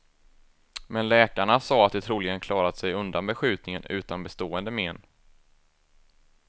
Men läkarna sade att de troligen klarat sig undan beskjutningen utan bestående men.